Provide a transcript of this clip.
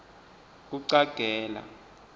kucagela